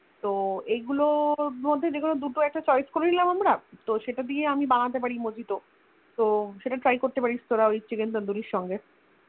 তো এগুলোর মধ্যে দুটো একটা Choice করেনিলাম একটা তো সেটা দিয়ে আমি বানাতে পারি Mojito তো সেটা Try করতে প্যারিস তোরা ওই Chicken tandoori এর সাথে